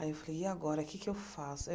Aí eu falei, e agora, o que é que eu faço?